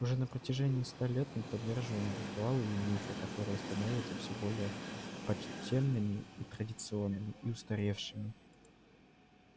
уже на протяжении ста лет мы поддерживаем ритуалы и мифы которые становятся все более почтенными и традиционными и устаревшими